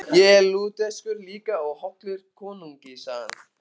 Ég er Lúterskur líka og hollur konungi, sagði hann.